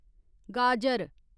गाजर